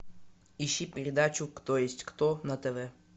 ищи передачу кто есть кто на тв